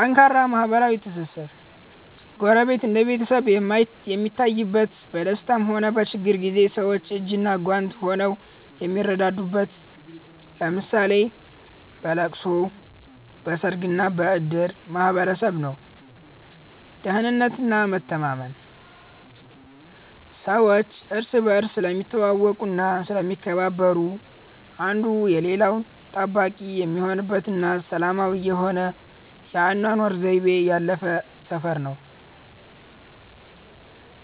ጠንካራ ማህበራዊ ትስስር፦ ጎረቤት እንደ ቤተሰብ የሚታይበት፣ በደስታም ሆነ በችግር ጊዜ ሰዎች እጅና ጓንት ሆነው የሚረዳዱበት (ለምሳሌ በለቅሶ፣ በሰርግና በእድር) ማህበረሰብ ነው። ደህንነትና መተማመን፦ ሰዎች እርስ በርስ ስለሚተዋወቁና ስለሚከባበሩ፣ አንዱ የሌላው ጠባቂ የሚሆንበትና ሰላማዊ የሆነ የአኗኗር ዘይቤ ያለበት ሰፈር ነው።